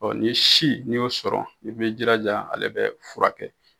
nin si n'i y'o sɔrɔ i bɛ jilaja ale bɛ furakɛ.